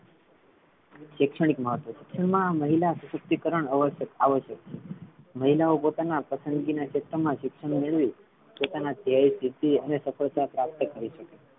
શૈક્ષણિક મહત્વ છે એમા મહિલા સશક્તિકરણ અવશ્યક ~ આવશ્યક છે મહિલાઓ પોતાના પસંદગીના ક્ષેત્રમા શિક્ષણ મેળવી પોતાના અને સફળતા પ્રાપ્ત કરે શકે.